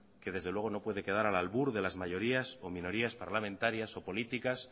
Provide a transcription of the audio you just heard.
que desde luego no puede quedar al albur de las mayorías o de las minorías parlamentarias o políticas